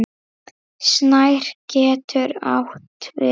Snær getur átt við